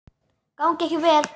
Gangi ykkur vel.